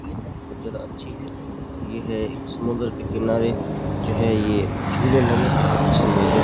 बहुत ज्यादा अच्छी है और ये है एक समुंद्र के किनारे जो है ये झूले लगे हैं जिसमें जो --